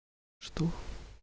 что